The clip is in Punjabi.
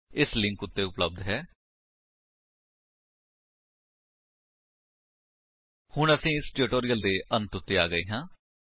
http ਸਪੋਕਨ ਟਿਊਟੋਰੀਅਲ ਓਰਗ ਨਮੈਕਟ ਇੰਟਰੋ ਹੁਣ ਅਸੀ ਇਸ ਟਿਊਟੋਰਿਅਲ ਦੇ ਅੰਤ ਵਿੱਚ ਆ ਗਏ ਹਾਂ